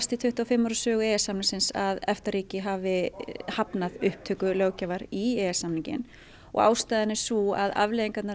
í tuttugu og fimm ár sögu e e s samningsins að EFTA ríki hafi hafnað upptöku löggjafar í e e s samninginn og ástæðan er sú að afleiðingin